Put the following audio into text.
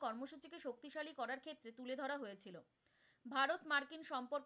কর্মসূচিকে শক্তিশালী করার ক্ষেত্রে তুলে ধরা হয়েছিলো। ভারত মার্কিন সম্পর্ক,